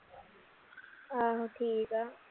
ਆਹੋ ਠੀਕ ਆ